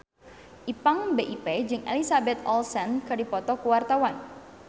Ipank BIP jeung Elizabeth Olsen keur dipoto ku wartawan